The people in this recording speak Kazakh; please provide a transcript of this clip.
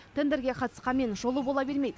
тендерге қатысқанмен жолы бола бермейді